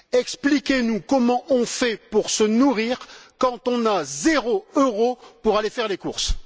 Expliquez nous comment on fait pour se nourrir quand on a zéro euro pour aller faire les courses!